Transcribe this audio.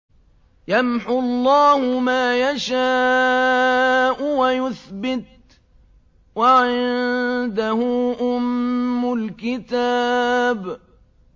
يَمْحُو اللَّهُ مَا يَشَاءُ وَيُثْبِتُ ۖ وَعِندَهُ أُمُّ الْكِتَابِ